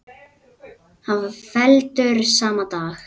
Hann var felldur sama dag.